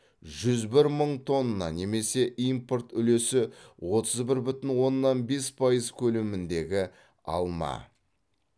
жүз бір мың тонна немесе импорт үлесі отыз бір бүтін оннан бес пайыз көлеміндегі алма